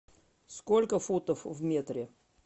сколько футов в метре